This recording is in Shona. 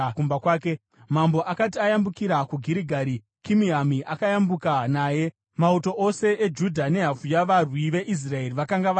Mambo akati ayambukira kuGirigari, Kimihami akayambuka naye. Mauto ose eJudha nehafu yavarwi veIsraeri vakanga vayambutsa mambo.